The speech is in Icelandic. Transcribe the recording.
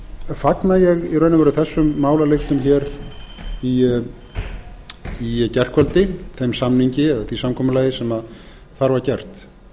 fagna ég í raun og veru þessum málalyktum hér í gærkvöldi þeim samningi eða því samkomulagi sem þar var gert